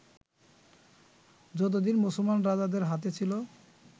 যতদিন মুসলমান রাজাদের হাতে ছিল